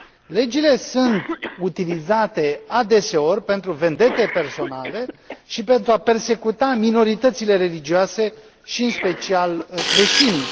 Legile sunt utilizate adeseori pentru vendete personale și pentru a persecuta minoritățile religioase și, în special, creștinii.